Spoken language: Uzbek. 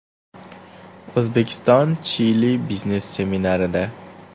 O‘zbekiston–Chili biznes seminarida.